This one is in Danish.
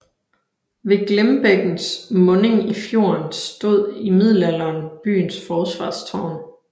Ved Glimbækkens munding i fjorden stod i middelalderen byens forsvarstårn